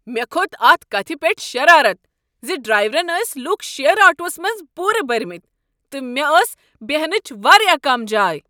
مےٚ کھوٚت اتھ کتھ پیٹھ شرارت زِ ڈرایورن ٲسۍ لوٗکھ شیر آٹووس منز پورٕ بٔرمٕتۍ تہٕ مےٚ ٲس بیہنچ واریاہ کم جاے۔